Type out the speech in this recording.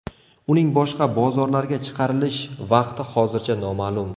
Uning boshqa bozorlarga chiqarilish vaqti hozircha noma’lum.